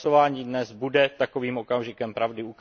To hlasování dnes bude takovým okamžikem pravdy.